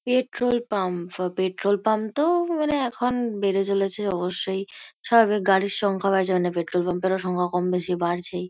Petrol pump ফা petrol pump -তো মানে এখন বেড়ে চলেছে অবশ্যই। স্বাভাবিক গাড়ির সংখ্যাও বাড়ছে মানে পেট্রোল পাম্প -এর সংখ্যাও কম-বেশি বাড়ছেই।